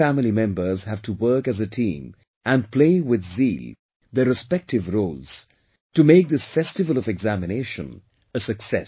All the family members have to work as a team and play with zeal their respective roles to make this festival of examination a success